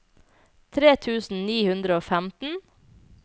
tre tusen ni hundre og femten